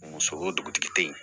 Muso o dugutigi tɛ yen